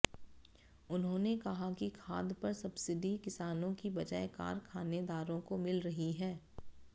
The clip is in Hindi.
उन्होंने कहा कि खाद पर सबसिडी किसानों की बजाय कारखानेदारों को मिल रही है